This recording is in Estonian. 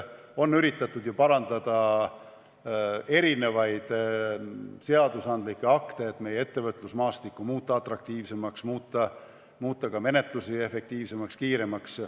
On ju üritatud parandada seadusandlikke akte, et muuta meie ettevõtlusmaastikku atraktiivsemaks ja ka menetlusi efektiivsemaks, kiiremaks.